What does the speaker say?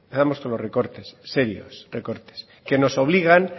con los recortes serios recortes que nos obligan